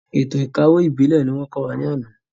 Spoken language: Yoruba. Ètò ìkawó ìbílẹ̀ ni wọ́n kọ́ wa lánàá.